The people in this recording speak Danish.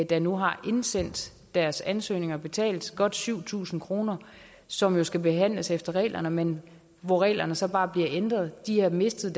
der nu har indsendt deres ansøgning og betalt godt syv tusind kroner som jo skal behandles efter reglerne men hvor reglerne så bare bliver ændret de har mistet